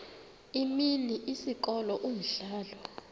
imini isikolo umdlalo